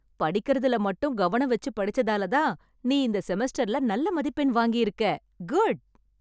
படிக்கறதுல மட்டும் கவனம் வெச்சு படிச்சதாலதான் நீ இந்த செமஸ்டர்ல நல்ல மதிப்பெண் வாங்கியிருக்க... குட்.